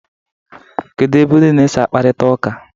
kedu ebe ụnụ na-esi akparịta ụka?